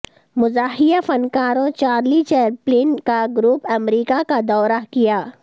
مزاحیہ فنکاروں Charlie Chaplin کا گروپ امریکہ کا دورہ کیا